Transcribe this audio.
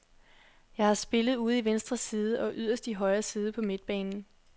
Jeg har spillet ude i venstre side og yderst i højre side på midtbanen.